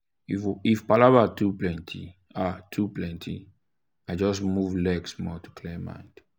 if palava too plenty i too plenty i just move leg small to clear mind.